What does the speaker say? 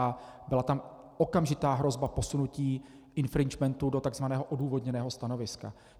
A byla tam okamžitá hrozba posunutí infringementu do tzv. odůvodněného stanoviska.